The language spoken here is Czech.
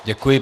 Děkuji.